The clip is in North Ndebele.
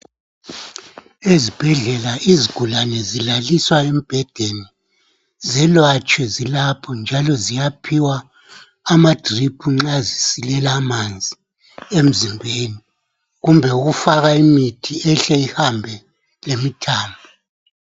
Ezibhedlela izigulane zilaliswa embhedeni zelatshwe zilapho njalo ziyaphiwa ama drip nxa zisilela amanzi emzimbeni kumbe ukufaka imithi ehle ihambe lemthambo.